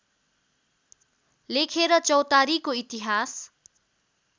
लेखेर चौतारीको इतिहास